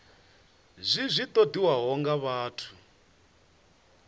zwi zwi ṱoḓiwaho nga vhathu